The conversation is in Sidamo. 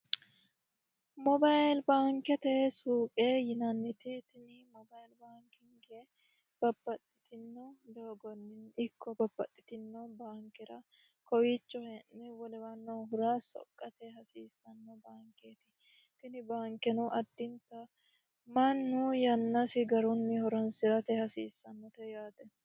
moyibili baankete suuqe yinanniti tini moyibili baankinge babbaxxitini doogonni ikko babbaxxitini baankera kowiicho hee'ne wolewa noohura soqqate hasiissanno baankeeti. Tini baankeno addinta mannu yannasi garunni horoonsirate hasiissannote yaate.